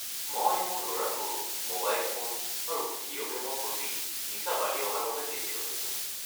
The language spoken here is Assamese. মই মোৰ ল'ৰাটোৰ ম'বাইল ফোন আৰু ভিডিঅ' গে'মৰ প্ৰতি নিচা বাঢ়ি অহাৰ বাবে চিন্তিত হৈছোঁ।